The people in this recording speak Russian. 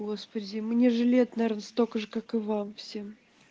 господи мне же лет наверно столько же как и вам всем